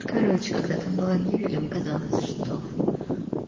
короче когда там была мебель ему казалось что